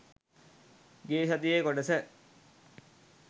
ගිය සතියේ කොටස